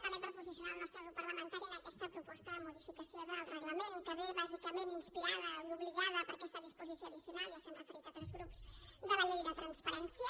també per posicionar el nostre grup parlamentari en aquesta proposta de modificació del reglament que ve bàsicament inspirada i obligada per aquesta disposició addicional ja s’hi han referit altres grups de la llei de transparència